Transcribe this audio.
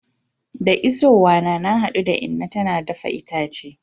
Da isowa na, na hadu da inna tana dafa itace.